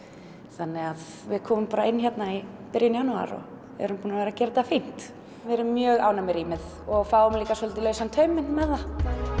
þannig að við komum bara inn hérna í byrjun janúar og erum búin að vera að gera þetta fínt við erum mjög ánægð með rýmið og fáum líka svolítið lausann tauminn með það